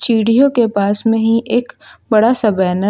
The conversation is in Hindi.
चीढ़ियों के पास में ही एक बड़ा सा बैन --